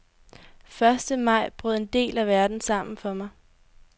Første maj brød en del af verden sammen for mig.